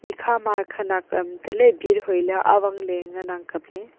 ekha ma khanak am tale bhir hoele awang le ngan ang kaple.